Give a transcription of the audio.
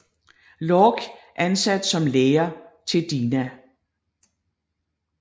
Lorch ansat som lærer til Dina